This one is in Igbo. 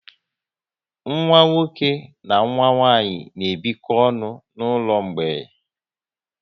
Nwa nwoke na nwa nwanyị n'ebiko ọnụ n'ụlọ mgbei